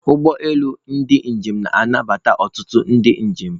Ụgbọ elu ndị njem na-anabata ọtụtụ ndị njem.